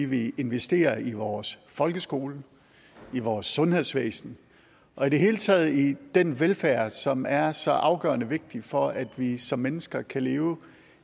vi investerer i vores folkeskole i vores sundhedsvæsen og i det hele taget i den velfærd som er så afgørende vigtig for at vi som mennesker kan leve